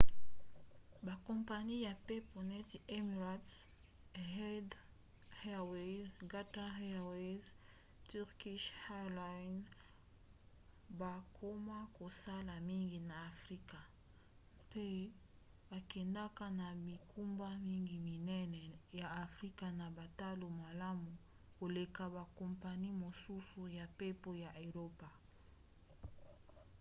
bakompani ya mpepo neti emirates etihad airways qatar airways & turkish airlines bakoma kosala mingi na afrika mpe bakendaka na bingumba mingi minene ya afrika na batalo malamu koleka bakompani mosusu ya mpepo ya eropa